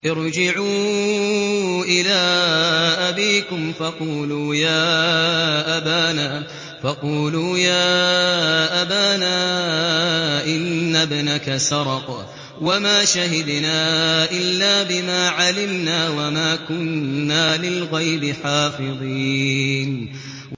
ارْجِعُوا إِلَىٰ أَبِيكُمْ فَقُولُوا يَا أَبَانَا إِنَّ ابْنَكَ سَرَقَ وَمَا شَهِدْنَا إِلَّا بِمَا عَلِمْنَا وَمَا كُنَّا لِلْغَيْبِ حَافِظِينَ